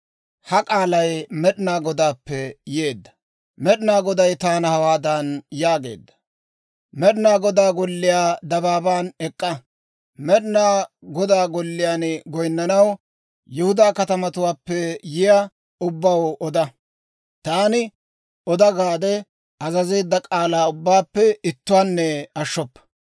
Med'inaa Goday taana hawaadan yaageedda; «Med'inaa Godaa Golliyaa dabaaban ek'k'a. Med'inaa Godaa Golliyaan goyinnanaw Yihudaa katamatuwaappe yiyaa ubbaw oda. Taani, ‹Oda› gaade azazeedda k'aalaa ubbaappe ittuwaanne ashshoppa.